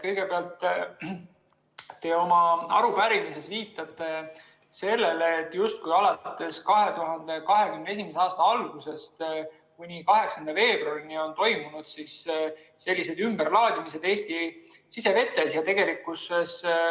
Kõigepealt viitate te oma arupärimises sellele, et justkui 2021. aasta algusest kuni 8. veebruarini oleks toimunud selliseid ümberlaadimisi Eesti sisevetes.